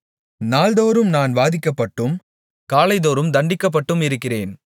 நாள்தோறும் நான் வாதிக்கப்பட்டும் காலைதோறும் தண்டிக்கப்பட்டும் இருக்கிறேன்